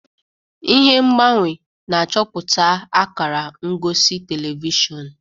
Ihe ngbanwe na-achọpụta akara ngosi telivishọn.